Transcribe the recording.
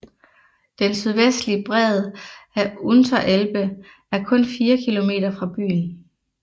Den sydvestlige bred af Unterelbe er kun fire kilometer fra byen